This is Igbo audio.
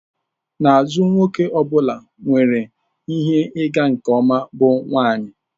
N'azụ nwoke ọ bụla nwere ihe ịga nke ọma bụ nwanyị.